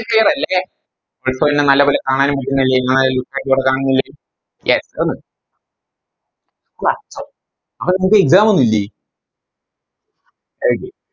Clear അല്ലെ ഇപ്പൊ ന്നെ നല്ലപോലെ കാണാനും പറ്റുന്നില്ലേ ലെ yes വ അപ്പൊ നമുക്ക് Exam ഒന്നുല്ലേ ഏക്